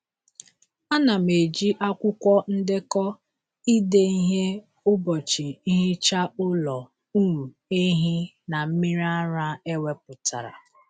A na m eji akwụkwọ ndekọ ide ihe ụbọchị nhicha ụlọ um ehi na mmiri ara ewepụtara.